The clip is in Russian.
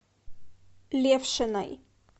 левшиной